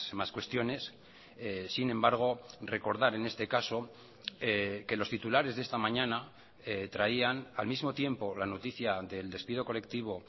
más cuestiones sin embargo recordar en este caso que los titulares de esta mañana traían al mismo tiempo la noticia del despido colectivo